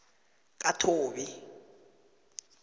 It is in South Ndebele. kathobi